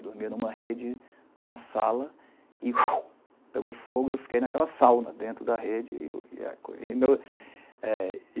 Eu dormia em uma rede, na sala, e pegou fogo, e eu fiquei naquela sauna dentro da rede. E e é a